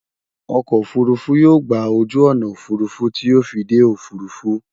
okò òfurufú yóò gbà ojú ọnà òfurufú ti yóò fí dé òfurufú